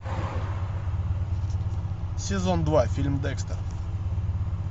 сезон два фильм декстер